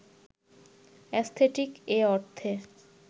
aesthetic এ অর্থে